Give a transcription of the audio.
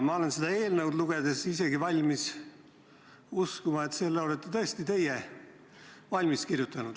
Ma olen seda eelnõu lugedes isegi valmis uskuma, et selle olete tõesti teie valmis kirjutanud.